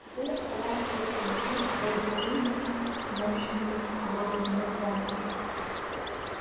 теперь оставалось только вдохнуть в робота жизнь мощным высоковольтным разрядом